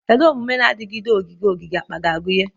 Kedu omume na-adigide ogige ogige akpa ga-agụnye?